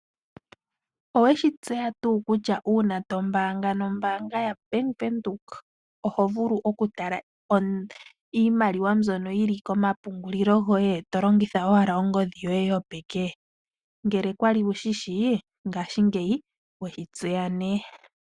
Owe shi tseya tuu kutya uuna to mbaanga nombaanga ya Bank Windhoek oho vulu okutala iimaliwa mbyono yi li komapungulilo goye, to longitha owala ongodhi yoye yopeke? Ngele kwali wushi shi, ngashingeyi weshi tseya nee.